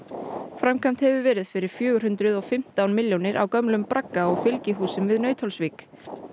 framkvæmt hefur verið fyrir fjögur hundruð og fimmtán milljónir á gömlum bragga og fylgihúsum við Nauthólsvík